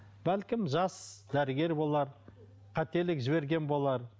бәлкім жас дәрігер болар қателік жіберген болар